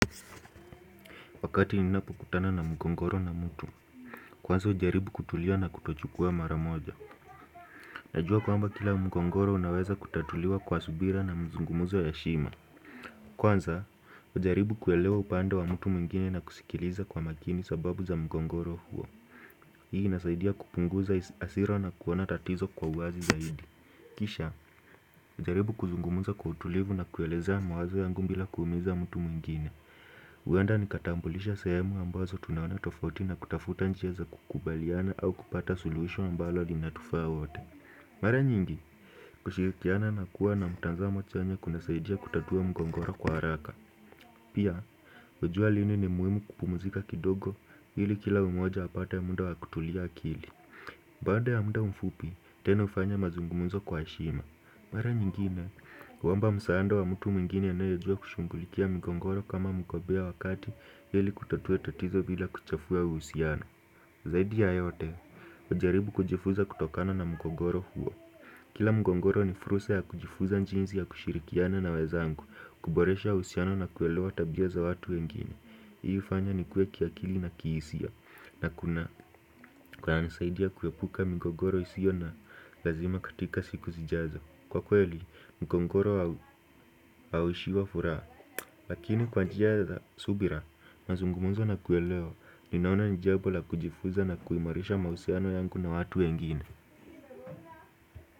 Wakati ninapokutana na mgogoro na mtu, kwanza jaribu kutulia na kutochukua hatua mara moja. Najua kwamba kila mgogoro unaweza kutatuliwa kwa subira na mzungumuzo ya heshima. Kwanza, jaribu kuelewa upande wa mtu mwingine na kusikiliza kwa makini sababu za mgogoro huo. Hii inasaidia kupunguza hasira na kuona tatizo kwa uwazi zaidi. Kisha, jaribu kuzungumza kwa utulivu na kuelezea mawazo yangu bila kuumiza mtu mwingine. Huenda ni kutambulisha sehemu ambazo tuna tofauti na kutafuta njia za kukubaliana au kupata suluhisho ambalo linatufaa sote. Mara nyingi, kushirikiana na kuwa na mtazamo chanya kunasaidia kutatua mgogoro kwa haraka. Pia, hujua lini ni muhimu kupumzika kidogo ili kila mmoja apate muda wa kutuliza akili. Baada ya muda mfupi, tena ufanye mazungumzo kwa heshima. Mara nyingine, omba msaada wa mtu mwingine anayejua kushughulikia mgogoro kama mtaalamu, ili kutatua tatizo bila kuchafua uhusiano. Zaidi ya yote, hujaribu kujifunza kutokana na mgogoro huo. Kila mgogoro ni fursa ya kujifunza jinsi ya kushirikiana na wenzangu, kuboresha uhusiano na kuelewa tabia za watu wengine. Hii hufanya nikue kiakili na kihisia, na kunanisaidia kuepuka migogoro isiyo ya lazima katika siku zijazo. Kwa kweli, mgogoro hauishiwi furaha, lakini kwa njia ya subira, mazungumzo na kuelewana, ninaona ni jambo la kujifunza na kuimarisha mahusiano yangu na watu wengine.